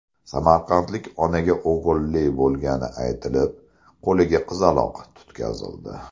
Samarqandlik onaga o‘g‘illi bo‘lgani aytilib, qo‘liga qizaloq tutqazildi.